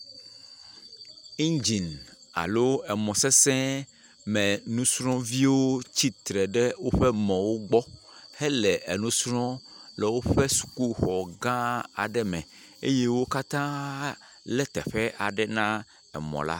Iŋdzini alo emɔ sesẽmenusrɔ̃viwo. Wotsi tre ɖe woƒe mɔ̃wo gbɔ hele enu srɔ̃ le woƒe sukuxɔ gãa aɖe me. eye wo katãa lé teƒe aɖe nae mɔ̃la.